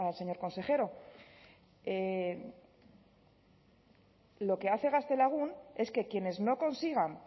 señor consejero lo que hace gaztelagun es que quienes no consigan